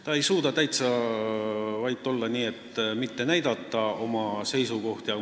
Ta ei suuda täitsa vait olla, nii olla, et ta ei näita oma seisukohti.